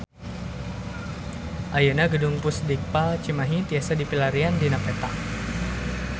Ayeuna Gedung Pusdikpal Cimahi tiasa dipilarian dina peta